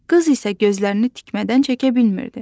Qız isə gözlərini tikmədən çəkə bilmirdi.